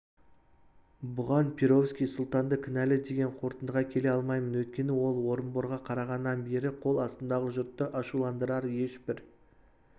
бұған перовский сұлтанды кінәлі деген қорытындыға келе алмаймын өйткені ол орынборға қарағаннан бері қол астымдағы жұртты ашуландырар ешбір